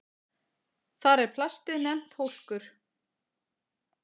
Þar er plastið nefnt hólkur.